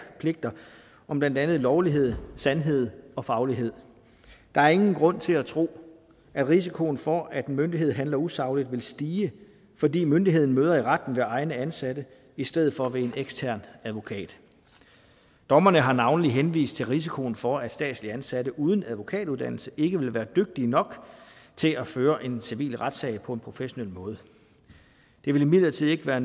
pligter om blandt andet lovlighed sandhed og faglighed der er ingen grund til at tro at risikoen for at en myndighed handler usagligt vil stige fordi myndigheden møder i retten ved egne ansatte i stedet for ved en ekstern advokat dommerne har navnlig henvist til risikoen for at statsligt ansatte uden advokatuddannelse ikke vil være dygtige nok til at føre en civil retssag på en professionel måde det vil imidlertid ikke være